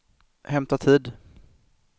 hämta tid